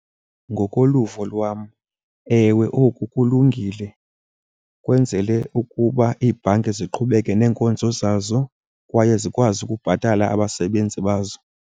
Ngokoluvo lwam, ewe, oku kulungile. Kwenzele ukuba iibhanki ziqhubeke neenkonzo zazo kwaye zikwazi ukubhatala abasebenzi bazo.